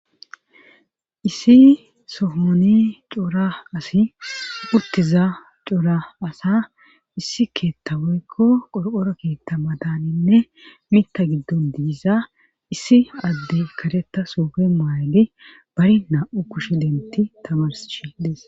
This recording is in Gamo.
issi sohoni coora asi puttiza coora asa issi keetta woykko qorqora keetta madaninne mita giddon digisa issi adde kareta soofe maayli bari naa7u kushe denti tamarsshi des